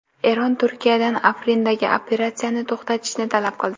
Eron Turkiyadan Afrindagi operatsiyani to‘xtatishni talab qildi.